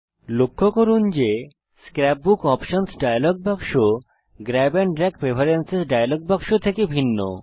লক্ষ্য করুন যে স্ক্র্যাপ বুক অপশনস ডায়লগ বাক্স grab and drag preference dialog বাক্স থেকে ভিন্ন